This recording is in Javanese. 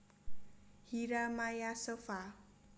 Hyra Maya Sopha